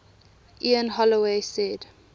ian holloway said